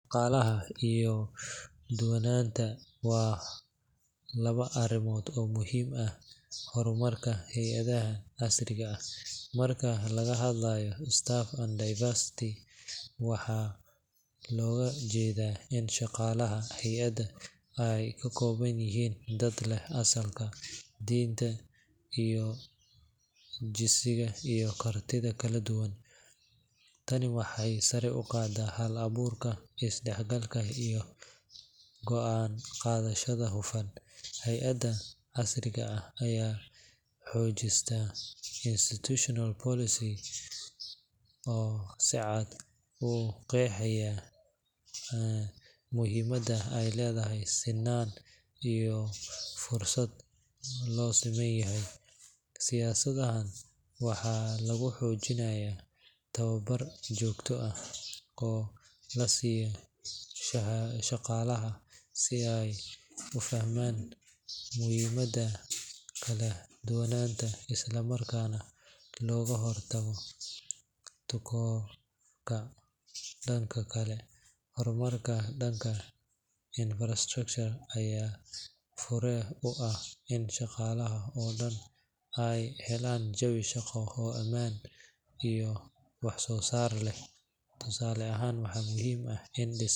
Shaqaalaha iyo kala duwanaanta waa laba arrimood oo muhiim u ah horumarka hay’adaha casriga ah. Marka laga hadlayo staff and diversity, waxaa loola jeedaa in shaqaalaha hay’addu ay ka kooban yihiin dad leh asalka, diinta, jinsiga, iyo kartida kala duwan. Tani waxay sare u qaadaa hal-abuurka, isdhexgalka, iyo go'aan qaadashada hufan. Hay’adaha casriga ah waxay dejistaan institutional policies oo si cad u qeexaya muhiimadda ay leedahay sinnaan iyo fursad loo siman yahay. Siyaasadahan waxaa lagu xoojiyaa tababar joogto ah oo la siiyo shaqaalaha si ay u fahmaan muhiimadda kala duwanaanta, isla markaana looga hortago takoorka. Dhanka kale, horumarka dhanka infrastructure ayaa fure u ah in shaqaalaha oo dhan ay helaan jawi shaqo oo ammaan iyo wax soo saar leh. Tusaale ahaan, waxaa muhiim ah in.